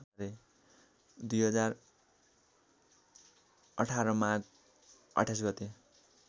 २०१८ माघ २८ गते